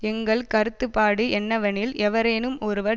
எங்கள் கருத்துபாடு என்னவெனில் எவரேனும் ஒருவர்